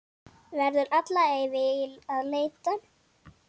Verður alla ævi að leita.